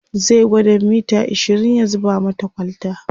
zai gwada mita ashirin ya zuba mata kwalta